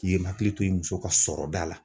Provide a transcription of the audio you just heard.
I ye hakili to i muso ka sɔrɔda la.